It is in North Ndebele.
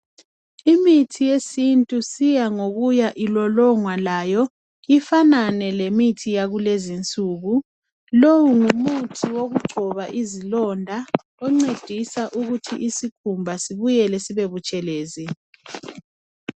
Imithi yesintu isiya ngokuya ilolongwa layo ifanane lemithi yakulenzi insuku. Lowo ngumuthi wokungcoba izilonda oncedisa ukuthi isikhumba sibuyele sibe butshelezi.